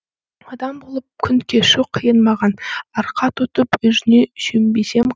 адам болып күн кешу қиын маған арқа тұтып өзіңе сүйенбесем